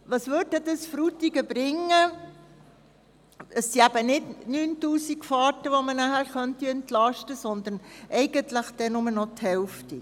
Es sind eben nicht 9000 Fahrten, um die man Frutigen entlasten könnte, sondern eigentlich nur noch die Hälfte.